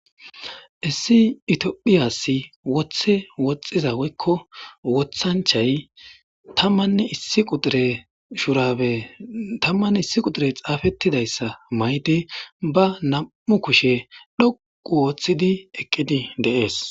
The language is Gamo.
Issi itiophiyassi woththe woxxiza woykko wothanchay tammanne issi qudire shurabe tammann issi qudire xaafettidayssa maydi ba nam7u kushe dhoqu wooththidi eqqidi deees.